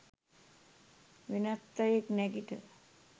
වෙනත් අයෙක් නැගිට